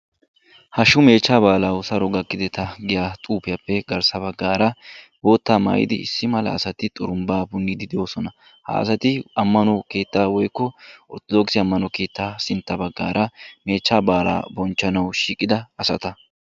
Hashshu meechchaa baalaa Saro gakkideta giyaa xuufiiyappe garssa baggaara bootta maayidi issi mala asati xurumbbaa punniiddi de'oosona. Ha asati keettaa woykko orttodookise ammano keettaa sintta baggaara meechchaa baalaa bonchchanawu shiiqida asata.